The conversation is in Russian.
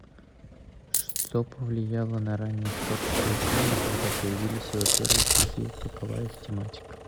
что повлияло на раннее творчество есенина когда появились его первые стихи какова их тематика